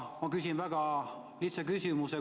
Ma küsin väga lihtsa küsimuse.